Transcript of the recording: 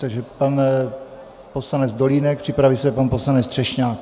Takže pan poslanec Dolínek, připraví se pan poslanec Třešňák.